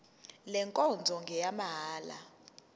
le nkonzo ngeyamahala